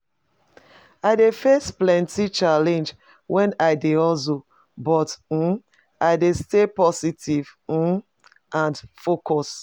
I dey face plenty challenges when i dey hustle, but um i dey stay positive um and focused.